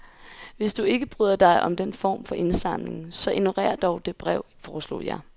Hvis du ikke bryder dig om den form for indsamling, så ignorer dog det brev, foreslog jeg.